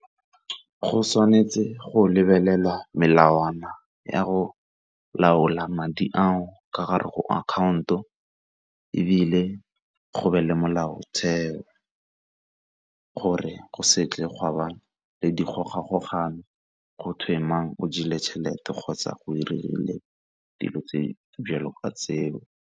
Go tshwanetse go lebelela melawana ya go laola madi ao ka gare go account-o ebile go be le molaotheo gore go se tle gwa ba le dikgogakgogano gotwe mang o jeleng tšhelete kgotsa go 'irile dilo tse di jalo ka tseo.